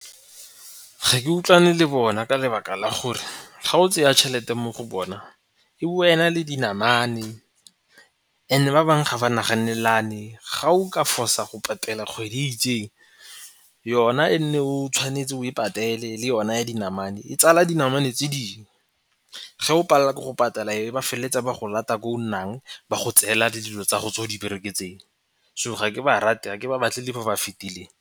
Ga ke utlwane le bona ka lebaka la gore ga o tseya tšhelete mo go bowa e na le dinamane ene ba bangwe ga ba naganelane. Ga o ka fosa go patela kgwedi e itseng yona e nne o tshwanetse o e patele le yona ya dinamane e tsala dinamane tse dingwe. Ge o palela ke go patala e be ba feleletse ba go lata ko o nnang ba go tseela le dilo tsa go tse o di bereketseng so ga ke ba rate, ga ba batle le mo ba fetileng.